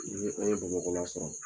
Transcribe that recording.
Ni an ye Bamakɔ la sɔrɔ